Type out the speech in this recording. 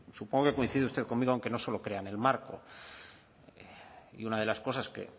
supongo que coincide usted conmigo en que no solo crean el marco y una de las cosas